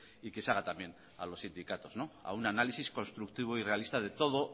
y que se haga también a los sindicatos no a un análisis constructivo y realista de todo